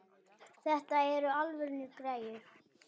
Þetta eru alvöru græjur.